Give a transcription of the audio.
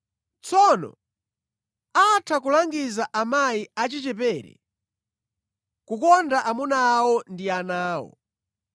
Tsono atha kulangiza amayi achichepere kukonda amuna awo ndi ana awo.